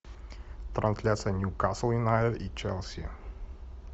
трансляция ньюкасл юнайтед и челси